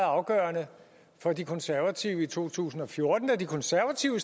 afgørende for de konservative i to tusind og fjorten da de konservative